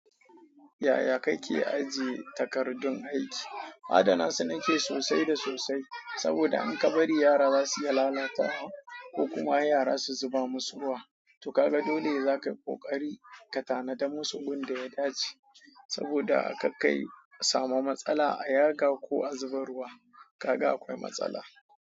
Yaya kake ajiye takardun aiki? Adana su nake sosai da sosai saboda in ka bari yara za su iya lalata ko kuma yara su zuba musu ruwa. To kaga dole ne zakayi ƙoƙari ka tanada musu gun da ya dace saboda kar kayi samu matsala a yaga ko a zuba ruwa kaga akwai matsala.